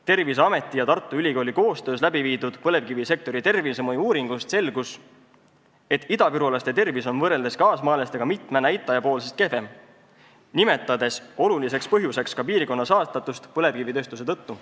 Terviseameti ja Tartu Ülikooli koostöös läbiviidud põlevkivisektori tervisemõju uuringust selgus, et idavirulaste tervis on võrreldes kaasmaalaste omaga mitme näitaja poolest kehvem, selle olulise põhjusena nimetati ka piirkonna saastatust põlevkivitööstuse tõttu.